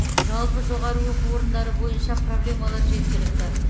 жалпы жоғары оқу орындары бойынша проблемалар жеткілікті